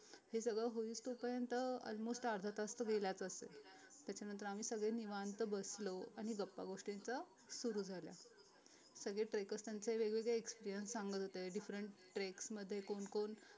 हे सगळं होईस्तोपर्यन्त तर almost अर्धा तास तर गेलाच असेल त्याच्यानंतर आम्ही सगळे निवांत बसलो आणि गपागोष्टींचं सुरु झाल्या सगळे trackers त्यांचे वेगवेगळे experience सांगत होते different treks मध्ये कोण कोण